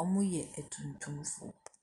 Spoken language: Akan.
Ɔmo yɛ atuntumfoɔ.